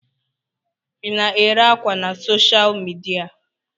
Ị na-ere ákwà na soshal midia?